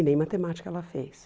E nem matemática ela fez.